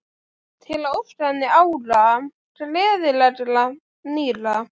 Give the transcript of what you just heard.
Til að óska henni ára, gleðilegra, nýrra.